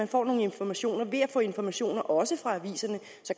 får nogle informationer ved at få informationer også fra aviserne